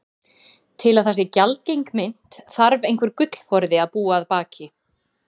Til að það sé gjaldgeng mynt þarf einhver gullforði að búa að baki.